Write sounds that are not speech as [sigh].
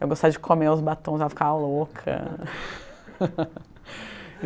Eu gostava de comer os batons, ela ficava louca. [laughs]